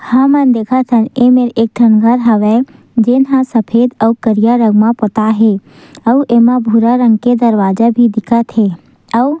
हमन देखत हन एमे एक ठन घर हावय जेन ह सफेद आऊ करिया रंग म पोताय हे आऊ एमा भूरा रंग के दरवाजा भी दिखत हे अउ--